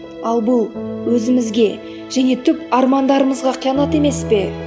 ал бұл өзімізге және түп армандарымызға қиянат емес пе